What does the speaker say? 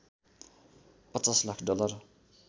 ५० lakh dollar